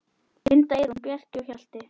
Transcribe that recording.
Linda, Eyrún, Bjarki og Hjalti.